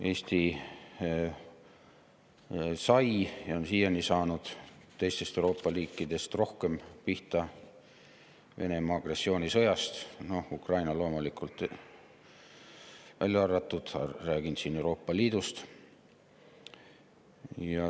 Eesti sai ja on siiani saanud Venemaa agressioonisõjast teistest Euroopa riikidest rohkem pihta, Ukraina loomulikult välja arvatud, räägin siin Euroopa Liidust.